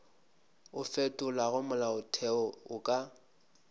o fetolago molaotheo o ka